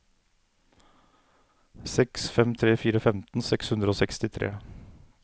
seks fem tre fire femten seks hundre og sekstitre